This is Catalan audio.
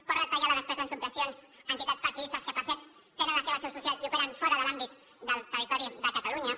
pot retallar la despesa en subvencions a entitats partidistes que per cert tenen la seva seu social i operen fora de l’àmbit del territori de catalunya